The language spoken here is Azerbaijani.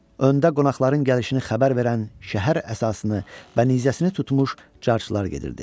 Öndə qonaqların gəlişini xəbər verən şəhər əsasını və nizəsini tutmuş carçılar gedirdi.